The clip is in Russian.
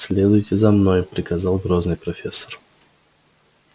следуйте за мной приказал грозный профессор